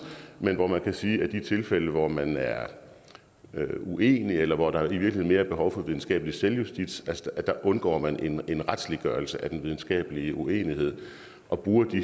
men hvor man kan sige at de tilfælde hvor man er uenig eller hvor der i virkeligheden er mere behov for videnskabelig selvjustits undgår man en retsliggørelse af den videnskabelige uenighed og bruger de